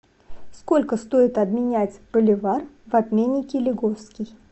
сколько стоит обменять боливар в обменнике лиговский